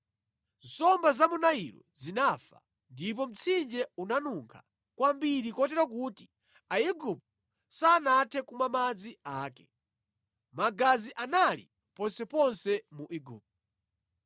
Nsomba za mu Nailo zinafa ndipo mtsinje unanunkha kwambiri kotero kuti Aigupto sanathe kumwa madzi ake. Magazi anali ponseponse mu Igupto.